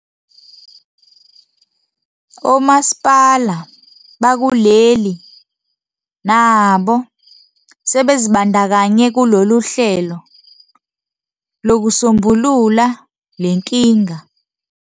Omasipala bakuleli nabo sebezibandakanye kulolu hlelo lokusombulula lenkinga.